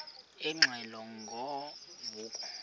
ingxelo ngo vuko